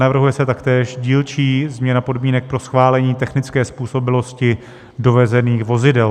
Navrhuje se taktéž dílčí změna podmínek pro schválení technické způsobilosti dovezených vozidel.